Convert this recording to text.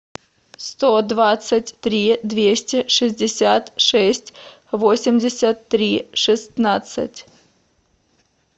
сто двадцать три двести шестьдесят шесть восемьдесят три шестнадцать